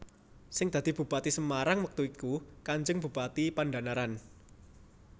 Sing dadi Bupati Semarang wektu iku Kanjeng Bupati Pandhanaran